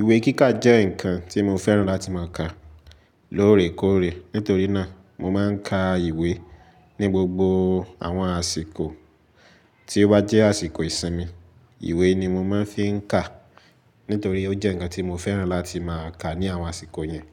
Ìwé kíkà jẹ́ ǹkan tí mo fẹ́ràn láti má a ka lóòrèkóòrè. Nítorí náà, mo má a n ka ìwé ní gbogbo àwọn àsìkò tí ó bá jẹ́ àsìkò ìsinmi. Ìwé ni mo má a n fí n ká nítorí ó jẹ́ ǹkan tí mo fẹ́ràn láti má a ka ní àwọn àsìkò yẹn.